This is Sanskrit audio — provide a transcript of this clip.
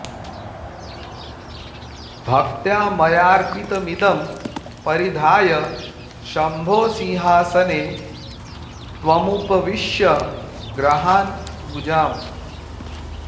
भक्त्या मयार्पितमिदं परिधाय शम्भो सिंहासने त्वमुपविश्य गृहाण पूजाम्